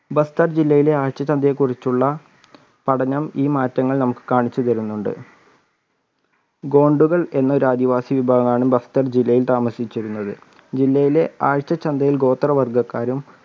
ബസ്റ്റാർ ജില്ലയിലെ ആഴ്ച ചന്തയെക്കുറിച്ചുള്ള പഠനം ഈ മാറ്റങ്ങൾ നമുക്ക് കാണിച്ചു തരുന്നുണ്ട് ഗോണ്ടുകൾ എന്ന ഒരു ആദിവാസി വിഭാവമാണ് ബസ്റ്റാർ ജില്ലയിൽ താമസിച്ചിരുന്നത് ജില്ലയിലെ ആഴ്ച ചന്ത ഗോത്രവർഗ്ഗക്കാരും